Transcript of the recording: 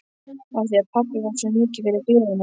Af því pabbi var svo mikið fyrir gleðina.